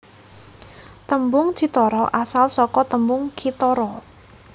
Tembung cithara asal saka tembung kithara